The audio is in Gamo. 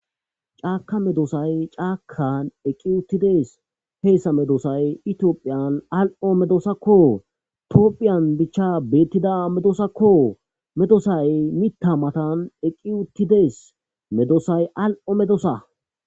Caka medosay cakazan eqi uttides hesa medosay tophiya ali'o medosako tophiya bicha betishe diza medosako medosay mitha matan eqi uttidis medosay ali'o medosa